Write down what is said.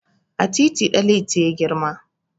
A titi Ɗanliti ya girma.